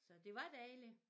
Så det var dejligt